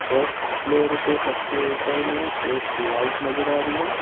First floor पे सबसे ऊपर में एक लाइट नजर आ रही है।